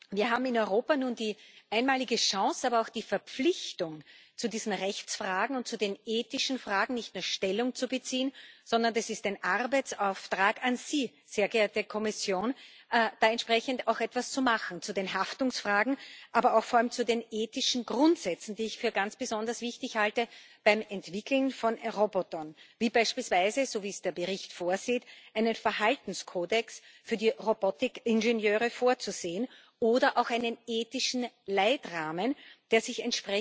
Wir haben in Europa nun die einmalige Chance, aber auch die Verpflichtung, zu diesen Rechtsfragen und zu den ethischen Fragen nicht mehr Stellung zu beziehen, sondern es ist ein Arbeitsauftrag an Sie, sehr geehrte Kommission, da entsprechend auch etwas zu machen zu den Haftungsfragen, aber vor allem auch zu den ethischen Grundsätzen, die ich für ganz besonders wichtig halte beim Entwickeln von Robotern, wie beispielsweise so wie es der Bericht vorsieht einen Verhaltenskodex für die Robotik Ingenieure vorzusehen oder auch einen ethischen Leitrahmen, der sich